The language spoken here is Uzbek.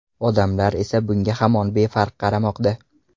Odamlar esa bunga hamon befarq qaramoqda.